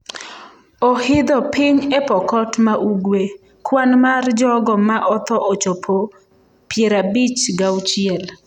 Ohidho piny e Pokot ma Ugwe: Kwan mar jogo ma otho ochopo 56